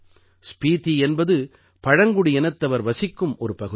ஸ்பீதி என்பது பழங்குடியினத்தவர் வசிக்கும் ஒரு பகுதி